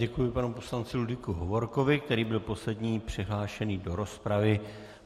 Děkuji panu poslanci Ludvíku Hovorkovi, který byl poslední přihlášený do rozpravy.